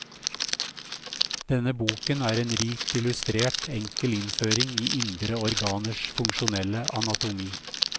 Denne boken er en rikt illustrert, enkel innføring i indre organers funksjonelle anatomi.